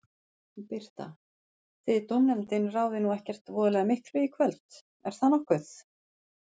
Birta: Þið dómnefndin ráðið nú ekkert voðalega miklu í kvöld, er það nokkuð?